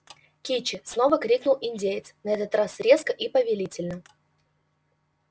кичи снова крикнул индеец на этот раз резко и повелительно